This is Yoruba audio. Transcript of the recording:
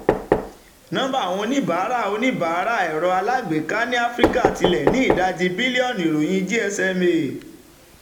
nọmba àwọn oníbàárà ẹ̀rọ oníbàárà ẹ̀rọ alágbèéká ní áfíríkà ti lé ní ìdajì bílíọ̀nù - ìròyìn gsma